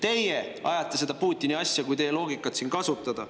Teie ajate seda Putini asja, kui teie loogikat kasutada.